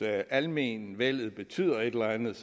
almenvellet betyder et eller andet